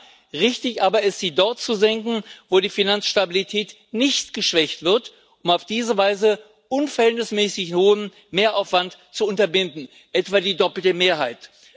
Ja, richtig aber ist, sie dort zu senken, wo die Finanzstabilität nicht geschwächt wird, um auf diese Weise unverhältnismäßig hohen Mehraufwand zu unterbinden, etwa die doppelte Mehrheit.